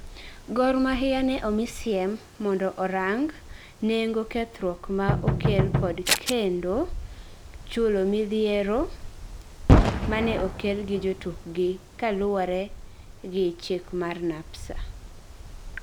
Gor Mahia ne omi siem mondo orang nengokethruokma okel kod kendo chulomidhieromane okelgi jotukgi kaluore gi chikmar NAPSA